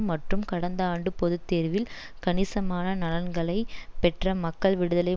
மற்றும் கடந்த ஆண்டு பொது தேர்வில் கணிசமான நலன்களை பெற்ற மக்கள் விடுதலை